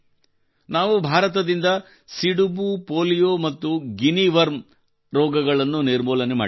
ನಾವು ಭಾರತದಿಂದ ಸಿಡುಬು ಪೋಲಿಯೊ ಮತ್ತು ಗಿನಿ ವರ್ಮ್ ಅಂತಹ ರೋಗಗಳನ್ನು ನಿರ್ಮೂಲನೆ ಮಾಡಿದ್ದೇವೆ